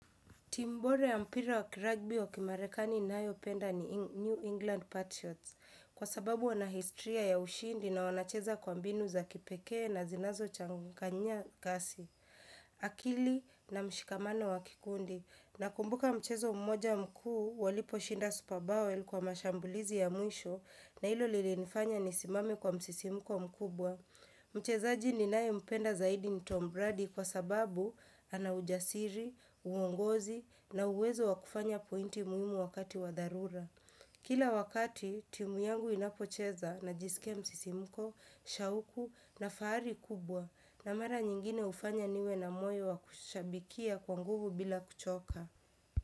Timu bora ya mpira wa kiragbi wa kimarekani ninayo penda ni New England Patriots kwa sababu wana historia ya ushindi na wanacheza kwa mbinu za kipekee na zinazo changanya kasi. Akili na mshikamano wa kikundi na kumbuka mchezo mmoja mkuu walipo shinda superbowel kwa mashambulizi ya mwisho na ilo lilinifanya nisimame kwa msisimko mkubwa. Mchezaji ninaye mpenda zaidi ni Tom Bradi kwa sababu ana ujasiri, uongozi na uwezo wa kufanya pointi muhimu wakati wa dharura Kila wakati, timu yangu inapocheza najiskia msisimko, shauku na fahari kubwa na mara nyingine hufanya niwe na moyo wakushabikia kwa nguvu bila kuchoka.